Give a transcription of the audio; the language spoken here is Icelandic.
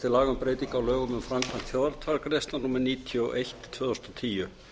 breytingu á lögum um framkvæmd þjóðaratkvæðagreiðslna númer níutíu og eitt tvö þúsund og tíu